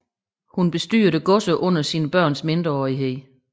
Hun bestyrede godserne under sine børns mindreårighed